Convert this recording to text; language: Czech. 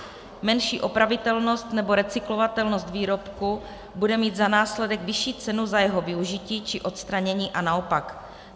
Menší opravitelnost nebo recyklovatelnost výrobku bude mít za následek vyšší cenu za jeho využití či odstranění, a naopak.